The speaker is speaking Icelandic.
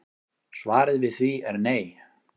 Svarið við því er nei